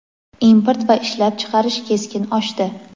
import va ishlab chiqarish keskin oshdi.